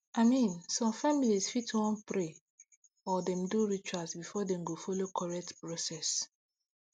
i mean some family fit wan pray or do dem rituals before dem go follow correct process